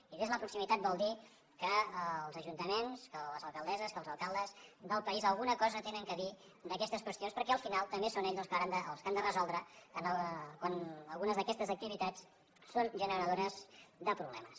i des de la proximitat vol dir que els ajuntaments que les alcaldesses que els alcaldes del país alguna cosa tenen a dir d’aquestes qüestions perquè al final també són ells els que han de resoldre quan algunes d’aquestes activitats són generadores de problemes